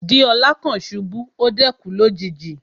Deola kan ṣubu, o dẹ̀ kú lójijì.